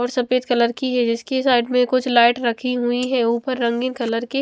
और सफेद कलर की है जिसकी साइड में कुछ लाइट रखी हुईं हैं ऊपर रंगीन कलर की--